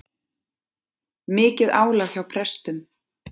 Mikið álag hjá prestum